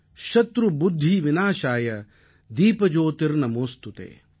சத்ருபுத்திவிநாசாய தீபஜோதிர்நமோஸ்துதே